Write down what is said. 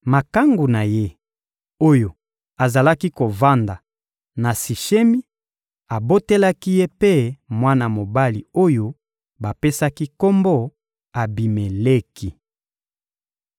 Makangu na ye, oyo azalaki kovanda na Sishemi, abotelaki ye mpe mwana mobali oyo bapesaki kombo «Abimeleki.»